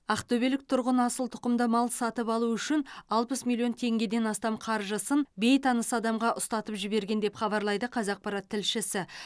ақтөбелік тұрғын асыл тұқымды мал сатып алу үшін алпыс миллион теңгеден астам қаржысын бейтаныс адамға ұстатып жіберген деп хабарлайды қазақпарат тілшісі